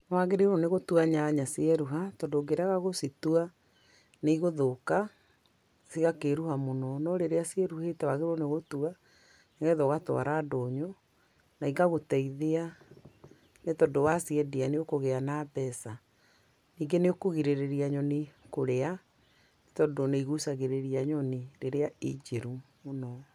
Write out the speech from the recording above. Nĩwagĩrĩirwo nĩ gũtua nyanya cieruha, tondũ ũngĩrega gũcitua, nĩ igũthúũka, cigakĩĩruha mũno. No rĩrĩa ciĩruhĩte wagĩrĩirwo nĩ gũcitua, ũgacitwara ndũnyũ, na igagũteithia nĩ tondũ waciendia nĩ ũkũgĩa na mbeca. Ningĩ nĩ ũkũgirĩrĩria nyoni kũrĩa, tondũ nĩ igucagĩrĩria nyoni rĩrĩa i njĩru mũno.